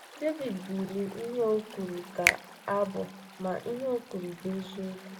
Devid bụrụ ihe a o kwuru ka abụ, ma, ihe o kwuru bụ eziokwu.